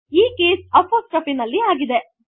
ಈ case apostrophe ನಲ್ಲಿ ಆಗಿದೆ